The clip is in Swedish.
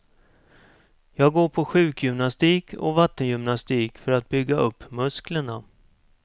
Jag går på sjukgymnastik och vattengymnastik för att bygga upp musklerna.